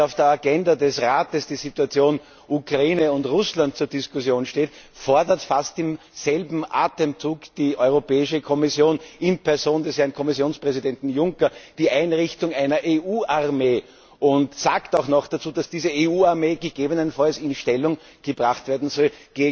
Während auf der Agenda des Rates die Situation in der Ukraine und Russland zur Diskussion steht, fordert fast im selben Atemzug die Europäische Kommission in Person des Herrn Kommissionspräsidenten Juncker die Einrichtung einer EU Armee und sagt auch noch dazu, dass diese EU Armee gegebenenfalls gegen Russland in Stellung gebracht werden soll.